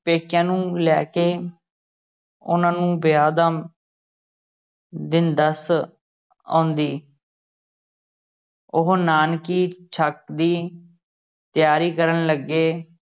ਪੇਕਿਆਂ ਨੂੰ ਲੈ ਕੇ ਉਹਨਾਂ ਨੂੰ ਵਿਆਹ ਦਾ ਦਿਨ ਦੱਸ ਆਉਂਦੀ ਉਹ ਨਾਨਕੀ ਛੱਕ ਦੀ ਤਿਆਰੀ ਕਰਨ ਲੱਗੇ।